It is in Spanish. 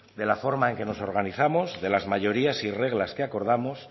de la forma en que nos organizamos de las mayorías y reglas que acordamos